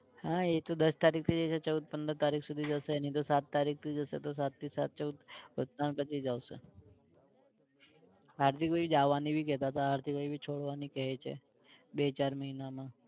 હા એતો દસ તરીક થી જશે ચૌદ પંદર તારીખ સુધી જશે નઇ તો સાત તારીખ થી જશે તો સાત થી સાત ચૌદ કે ઉત્તરાયણ પછી જ આવશે. હાર્દિકભાઇ જવાની ભી કેતા તા, હાર્દિકભાઇ ભી છોડવાની કઈ છે બે ચાર માહિનામાં